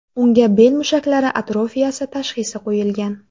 Unga bel mushaklari atrofiyasi tashxisi qo‘yilgan.